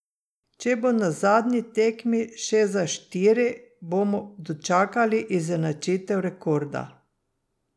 Če bo na zadnji tekmi še za štiri, bomo dočakali izenačitev rekorda.